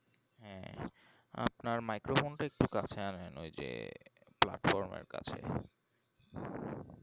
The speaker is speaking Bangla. হ্যাঁ আপনার microphone একটু কাছের আনেন ওই যে platform এর কাছে